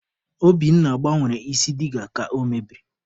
Obinna gbanwere isi diga ka o mebiri.